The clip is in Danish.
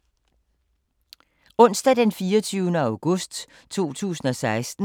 Onsdag d. 24. august 2016